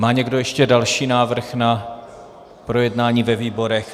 Má někdo ještě další návrh na projednání ve výborech?